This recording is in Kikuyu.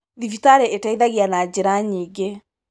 Thibitarĩ ĩteithagia na njĩra nyingĩ.